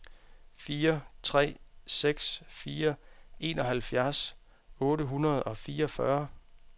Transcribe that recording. fire tre seks fire enoghalvfjerds otte hundrede og fireogfyrre